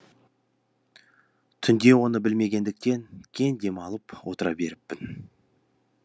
түнде оны білмегендіктен кең дем алып отыра беріппін